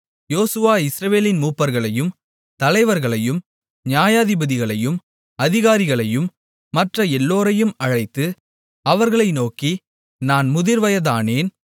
யோசுவா இஸ்ரவேலின் மூப்பர்களையும் தலைவர்களையும் நியாயாதிபதிகளையும் அதிகாரிகளையும் மற்ற எல்லோரையும் அழைத்து அவர்களை நோக்கி நான் முதிர்வயதானேன்